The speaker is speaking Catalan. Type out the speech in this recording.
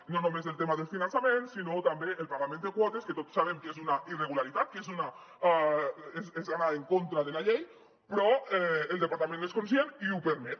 i no només el tema del finançament sinó també el pagament de quotes que tots sabem que és una irregularitat que és anar en contra de la llei però el departament n’és conscient i ho permet